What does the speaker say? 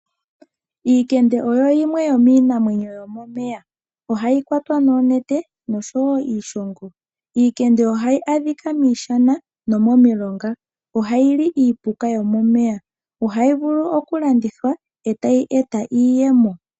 Omakende ogo gamwe gomiinamwenyo yomomeya. Ohaga kwatwa noonete nosho wo iishongo. Omakende ohaga adhika miishana nomomilonga. Ohaga li iipuka yomomeya. Ohaga vulu okulandithwa e taga eta iiyemo.